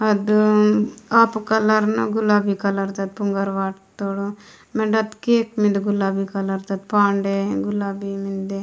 आधु हापा कालर ताद गुलाबी कालर ताद फुगर वाट तोर वेनड गुलाबी कालर ताद केख मिनदे पानडे गुलाबी --